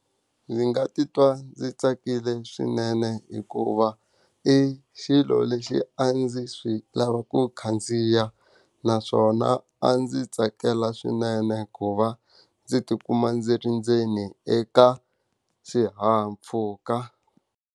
Ndzi nga titwa ndzi tsakile swinene hikuva, i xilo lexi a ndzi swi lava ku khandziya naswona a ndzi tsakela swinene ku va ndzi ti kuma ndzi ri ndzeni eka xihahampfhuka.